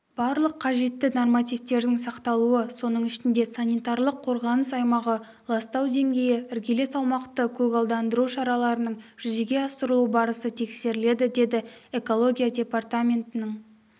барлық қажетті нормативтердің сақталуы соның ішінде санитарлық-қорғаныс аймағы ластау деңгейі іргелес аумақты көгалдандыру шараларының жүзеге асырылу барысы тексеріледі деді экология департаментінің